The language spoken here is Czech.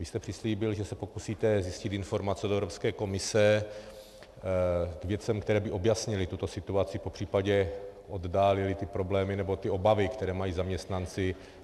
Vy jste přislíbil, že se pokusíte zjistit informace z Evropské komise k věcem, které by objasnily tuto situaci, popřípadě oddálily ty problémy nebo ty obavy, které mají zaměstnanci.